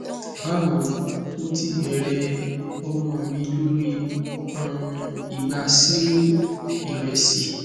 bawo mo ti bẹrẹ ọmọ mi lori um igba cereal iresi